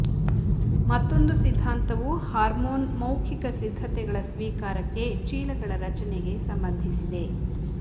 ಮತ್ತೊಂದು ಸಿದ್ಧಾಂತವು ಹಾರ್ಮೋನ್ ಮೌಖಿಕ ಸಿದ್ಧತೆಗಳ ಸ್ವೀಕಾರಕ್ಕೆ ಚೀಲಗಳ ರಚನೆಗೆ ಸಂಬಂಧಿಸಿದೆ